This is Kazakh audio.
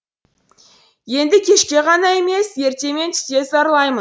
енді кешке ғана емес ерте мен түсте зарлаймын